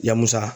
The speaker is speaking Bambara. Ya musa